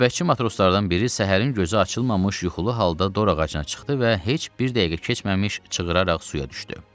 Növbətçi matroslardan biri səhərin gözü açılmamış yuxulu halda dorağacına çıxdı və heç bir dəqiqə keçməmiş çığıraraq suya düşdü.